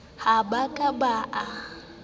ha ba ka ba a